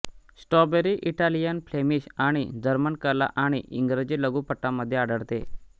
strawberry Italian Flemish आणि जर्मन कला आणि इंग्रजी लघुपटांमध्ये आढळते